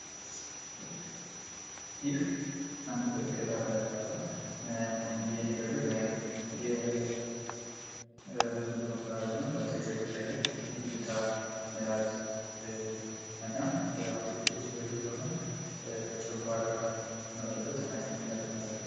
ይህ አንድ በሬ ከታረደ በሁላ የሚታይ የ አመጋገብ ስነስር አት ነው ምላስ ጨንጓራ ጨው አና የመሳሰሉት ቀርበው ይታያሉ።